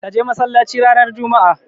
Ka je masallaci ranar juma'a.